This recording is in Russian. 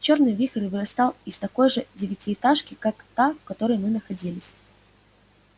чёрный вихрь вырастал из такой же девятиэтажки как та в которой мы находились